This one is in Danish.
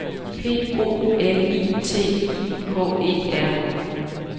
P O L I T I K E R